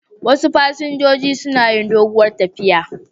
Wasu fasinjojin suna yi doguwar tafiya.